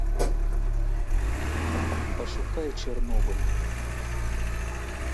пошукай чернобыль